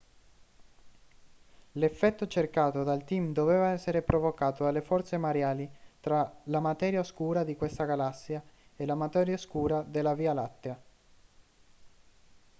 l'effetto cercato dal team doveva essere provocato dalle forze mareali tra la materia oscura di questa galassia e la materia oscura della via lattea